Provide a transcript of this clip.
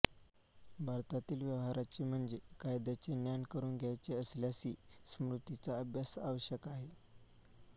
भारतातील व्यवहाराचे म्हणजे कायद्याचे ज्ञान करून घ्यायचे असल्यासही स्मृतींचा अभ्यास आवश्यक आहे